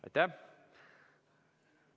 Aitäh!